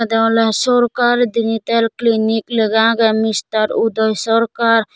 eaneolay sarkar dental clinic laga aagay mister uday sarkar.